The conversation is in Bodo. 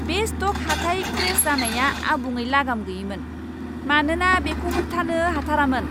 बे स्ट'क हाथाइ क्रेश जानाया आबुङै लागाम गैयैमोन, मानोना बेखौ होबथानो हाथारोमोन!